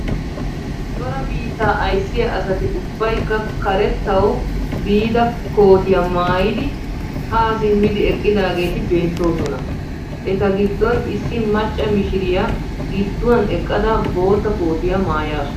Cora biittaa ayssiyaa asati ubbaykka karettawu biida kootiyaa maaydi haa simmidi eqqidaageti beettoosona. Eta giddon issi macca mishiriyaa gidduwaan eqqada bootta kootiyaa maayasu.